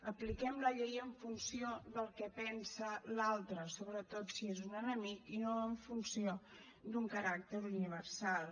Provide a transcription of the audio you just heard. apliquem la llei en funció del que pensa l’altre sobretot si és un enemic i no en funció d’un caràcter universal